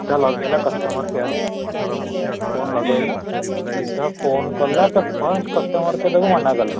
ସିଧା ଲଗେଇଲା customer care କୁ ହେଲା phone ଲଗେଇଲା ସିଧା phone କଲା first customer care ତାକୁ ମନା କଲା